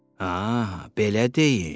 Aha, belə deyin.